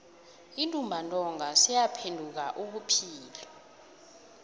untumbantonga seyaphenduka ubuphilo